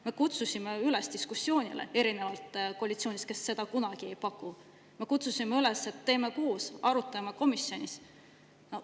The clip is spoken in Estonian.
Me kutsusime üles diskussiooni pidama, erinevalt koalitsioonist, kes seda kunagi ei paku, me kutsusime üles, et teeme koos, arutame komisjonis.